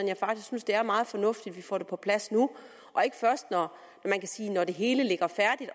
jeg faktisk synes det er meget fornuftigt at vi får det på plads nu og ikke først når det hele ligger færdigt